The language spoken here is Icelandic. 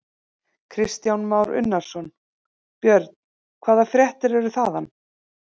Kristján Már Unnarsson: Björn, hvaða fréttir eru þaðan?